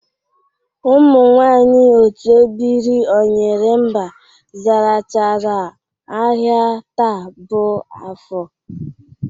Ụmụ nwaanyị otu ebiri ọnyịrịmba zarachara ahịa taa bụ afọ